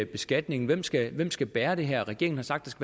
beskatningen hvem skal skal bære det her regeringen har sagt